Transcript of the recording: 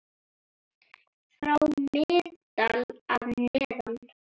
frá Miðdal að neðan.